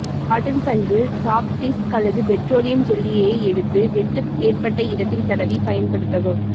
cotton பஞ்சில் chopsticks அல்லது petroleum ஜெல்லியை எடுத்து வெட்டு ஏற்பட்ட இடத்தில் தடவி பயன்படுத்தவும்